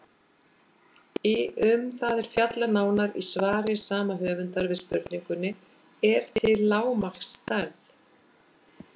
Um það er fjallað nánar í svari sama höfundar við spurningunni Er til lágmarksstærð?